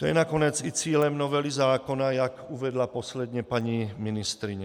To je nakonec i cílem novely zákona, jak uvedla posledně paní ministryně.